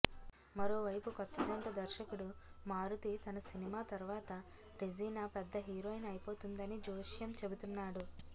మరోవైపు కొత్తజంట దర్శకుడు మారుతి తన సినిమా తర్వాత రెజీనా పెద్ద హీరోయిన్ అయిపోతుందని జోస్యం చెబుతున్నాడు